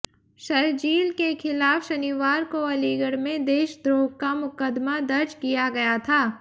शरजील के खिलाफ शनिवार को अलीगढ़ में देशद्रोह का मुकदमा दर्ज किया गया था